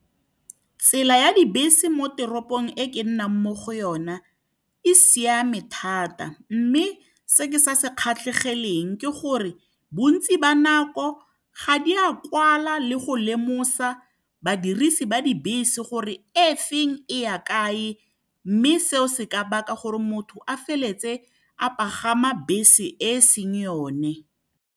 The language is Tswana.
Tsela ya dibese mo teropong ko ke nnang mo go yona e siame thata, mme se ke sa se kgatlhegeleng ke gore bontsi ba nako ga di a kwala le go lemosa badirisi ba dibese gore e feng e ya kae. Mme seo se ka baka gore motho a feletse a pagama bese e seng yone.